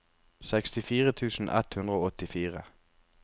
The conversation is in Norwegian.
sekstifire tusen ett hundre og åttifire